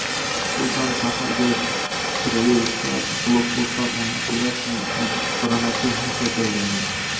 Xususan, shaharga kiraverishda blokpostlar o‘rnatilib, bronetexnika joylangan.